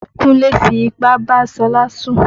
Kúnlé fi ipá bá Ṣọlá sùn.